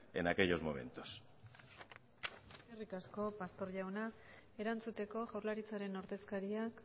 en aquellos momentos eskerrik asko pastor jauna erantzuteko jaurlaritzaren ordezkariak